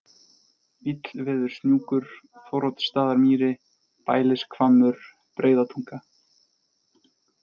Illveðurshnjúkur, Þóroddsstaðamýri, Bælishvammur, Breiðatunga